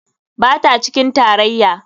Ba ta cikin tarayya.